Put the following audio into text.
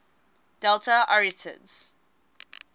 delta arietids